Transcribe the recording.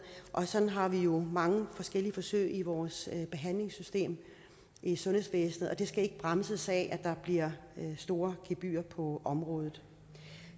og sådan har vi jo mange forskellige forsøg i vores behandlingssystem i sundhedsvæsenet det skal ikke bremses af at der bliver store gebyrer på området